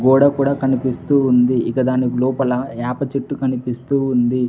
గోడ కూడా కనిపిస్తూ ఉంది ఇక దాని లోపల యాప చెట్టు కనిపిస్తూ ఉంది.